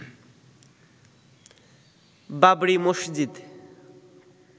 Babri Masjid